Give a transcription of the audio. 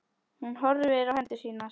Hún horfir á hendur sínar.